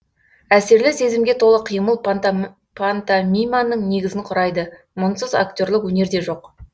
әсерлі сезімге толы қимыл пантомиманың негізін құрайды мұнсыз актерлік өнер де жоқ